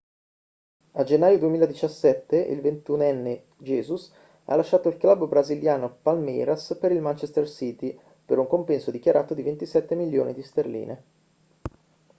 a gennaio 2017 il ventunenne jesus ha lasciato il club brasiliano palmeiras per il manchester city per un compenso dichiarato di 27 milioni di sterline